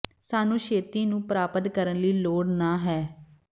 ਸਾਨੂੰ ਛੇਤੀ ਨੂੰ ਪ੍ਰਾਪਤ ਕਰਨ ਲਈ ਲੋੜ ਨਹ ਹੈ